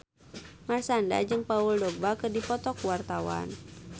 Marshanda jeung Paul Dogba keur dipoto ku wartawan